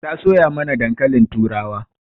Ta soya mana dankalin turawa.